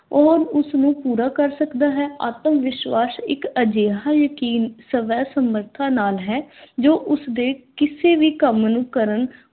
ਉਹ ਉਸਨੂੰ ਪੂਰਾ ਕਰ ਸਕਦਾ ਹੈ? ਆਤਮ-ਵਿਸ਼ਵਾਸ ਇੱਕ ਅਜਿਹਾ ਯਕੀਨ, ਸਵੈ ਸਮਰਥਾ ਨਾਲ ਹੈ ਜੋ ਉਸਦੇ ਕਿਸੇ ਵੀ ਕੰਮ ਨੂੰ ਕਰਨ